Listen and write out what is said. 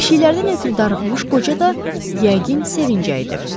Pişiklərdən ötrü darıxmış qoca da yəqin sevinəcəkdi.